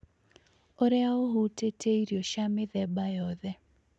ũrĩa ũhutĩtie irio cia mĩthemba yothe